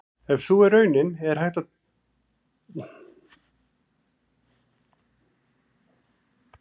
Ef sú er raunin er hægt að hefja raunverulegt samtal.